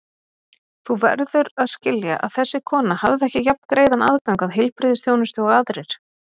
Þú verður að skilja að þessi kona hafði ekki jafngreiðan aðgang að heilbrigðisþjónustu og aðrir.